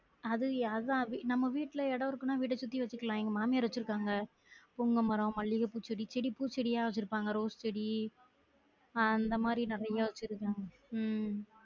அது அதான் அது நம்ம வீட்டுல எடம் இருக்குனா வீட்ட சுத்தி வச்சிருக்கலாம் எங்க மாமியாரு வச்சுருக்காங்க புங்கமரம், மல்லிகப்பூ செடி, செடி பூச்செடியா வச்சிருப்பாங்க ரோஸ் செடி ஆஹ் அந்த மாதிரி நிறைய வச்சிருக்காங்க உம்